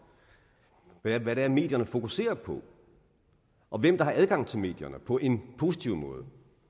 hvad det er medierne fokuserer på og hvem der har adgang til medierne på en positiv måde